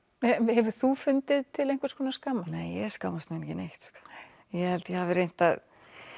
hefur þú fundið til einhvers konar skammar nei ég skammast mín ekki neitt sko ég held ég hafi reynt að